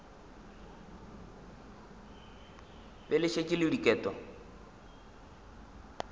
be le šetše le diket